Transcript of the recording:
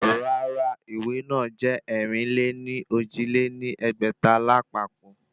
Rárá ìwé náà jẹ́ ẹ̀rin-lé-ní-ojì lé ní ẹgbẹ́ta lápapọ̀